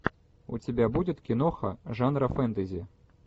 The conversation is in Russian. у тебя будет киноха жанра фэнтези